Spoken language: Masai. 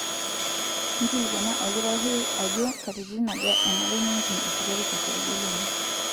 Nkilikuana olkitarri ajo katitin aja enare nimpim esukari tosarge lino.